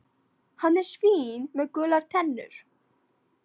Hann er svín með gular tennur.